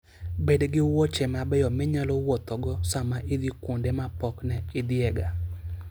Bed gi wuoche mabeyo minyalo wuothogo sama idhi kuonde ma pok ne idhiyega.